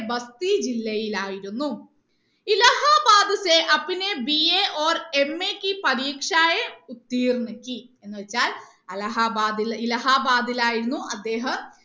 ഭക്തി ജില്ലയിലായിരുന്നു Allahabad BA or MA പരീക്ഷ എന്ന് വെച്ചാൽ അലഹാബാദിൽ ഇലഹാബാദിൽ ആയിരുന്നു അദ്ദേഹം